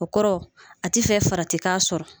O kɔrɔ a tɛ fɛ farati k'a sɔrɔ